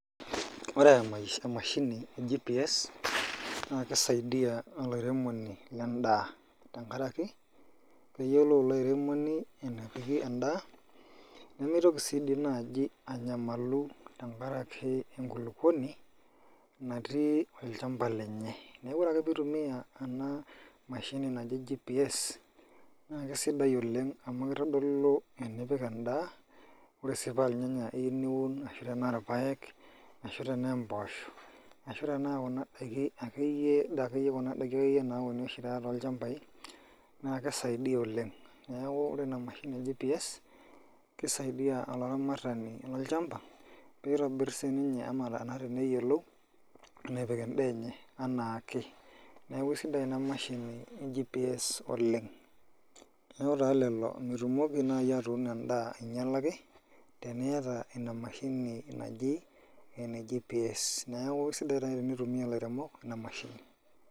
Oree amashini ee GPS naa kei saidia olaremoni lee ndaa tenkaraki keyiolou ilo aremoni enepiki endaa nemeitoki sii naaji anyamalu tenkaraki enkulukuoni natii olchampa lenye neeku ore ake peeitumia ena mashini naji GPS naa kesidai oleng' amuu keitodolu enipik endaa ore sii paa irnyanya iyeu niun arashu aa irpayek ashuu tenaa empoosho ashuu tenaa kuna daikin akeyie naauni oshii taata toolchampai naa kei saidia oleng' neeku ore ina mashini naji GPS keret olaramaratani lolchampa peiitobirr sininye enaa enatiu neyiolou enepik endaa enye enaake neeku sidai inamashina ee GPS oleng' neeku taa lelo mitumoki nayii atuuno endaa ainyalaki teniata inamashini naji ene GPS neeku keisidai taa ake teneitumia ilairemok ina mashini.